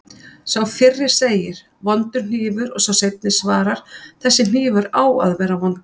Sá fyrri segir: Vondur hnífur og sá seinni svarar: Þessi hnífur á að vera vondur